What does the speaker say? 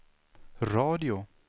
radio